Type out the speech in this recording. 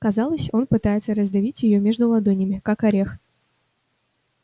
казалось он пытается раздавить её между ладонями как орех